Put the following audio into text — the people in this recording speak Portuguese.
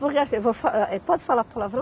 Porque assim, eu vou fa, eh, pode falar palavrão?